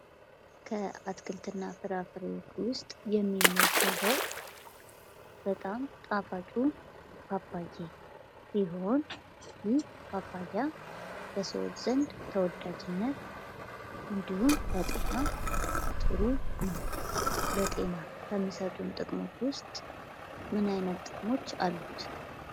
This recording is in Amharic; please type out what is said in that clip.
ከአትክልትና ፍራፍሬዎች ውስጥ የሚመደበው በጣም ጣፋጩ ሲሆን ፤ ይህ በሰዎች ዘንድ ተወዳጅና እንዲሁም ለጤና ጥሩ ነው። ለጤና ከሚሰጡን ጥቅሞች ውስጥ ምን አይነት ጥቅም አለው?